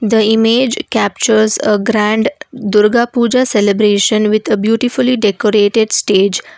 The image captures a grand durga pooja celebration with a beautifully decorated stage.